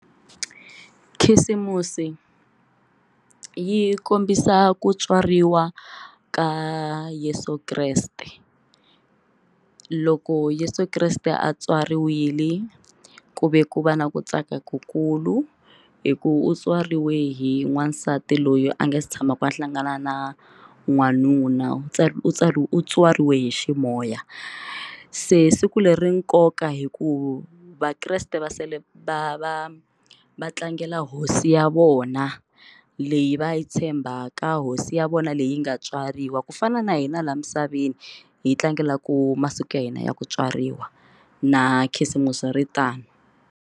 Khisimusi yi kombisa ku tswariwa ka Yeso Kreste loko Yeso Kreste a tswariwile ku ve ku va na ku tsaka ku kulu hi ku u tswariwe hi n'wansati loyi a nga si tshamaka a hlangana na n'wanuna u u tswariwe u tswariwe hi ximoya se siku leri nkoka hikuva vakreste va va va va tlangela hosi ya vona leyi va yi tshembaka hosi ya vona leyi nga tswariwa ku fana na hina laha misaveni hi tlangelaku masiku ya hina ya ku tswariwa na khisimusi ri tano.